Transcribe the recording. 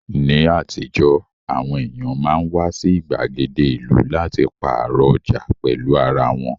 Ní àtijọ́, àwọn èèyàn máa ń wá sí ìgbàgede ìlú láti pààrọ̀ ọjà pẹ̀lú ara wọn